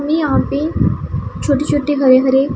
हमें यहां पे छोटी छोटी हरे हरे--